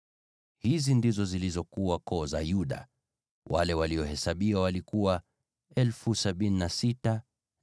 Hizi ndizo zilizokuwa koo za Yuda; wale waliohesabiwa walikuwa 76,500.